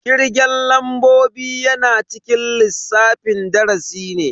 Kirgen lambobi yana cikin lissafin darasi ne.